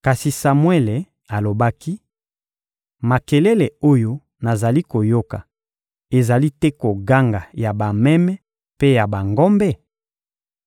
Kasi Samuele alobaki: — Makelele oyo nazali koyoka ezali te koganga ya bameme mpe ya bangombe?